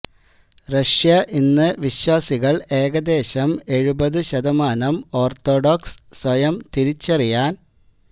Russia ഇന്ന് വിശ്വാസികൾ ഏകദേശം എഴുപതു ശതമാനം ഓർത്തഡോക്സ് സ്വയം തിരിച്ചറിയാൻ